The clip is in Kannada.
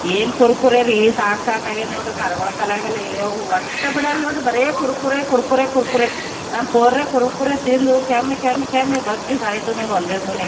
ಏನ್ ಕುರ್ಕುರೆ ರೀ ಸಾಕ್ ಸಾಕ್ ಆಗಿದೆ ನೋಡ್ ಪರಗೊಳ ಕಾಲಗ ಒಟ್ಟೆ ಬಿಡಲ್ಲ ನೋಡ್ ಬರೇ ಕುರ್ಕುರೆ ಕುರ್ಕುರೆ ಕುರ್ಕುರೆ ನಮ್ ಪೂರೇ ಕುರ್ಕುರೆ ತಿಂದು ಕೆಮ್ಮಿ ಕೆಮ್ಮಿ ಕೆಮ್ಮಿ ಬಗ್ಗಿ ಸೈತಾವ್ ನೋಡ್ ಒಂದೇ ಸಮನೆ.